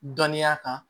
Dɔnniya kan